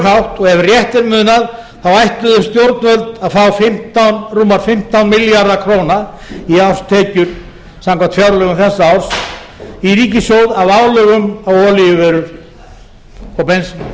hátt og ef rétt er munað þá ætluðu stjórnvöld að fá rúma fimmtán milljarða króna í árstekjur samkvæmt fjárlögum þessa árs í ríkissjóð af álögum á olíuvörur og bensín vegna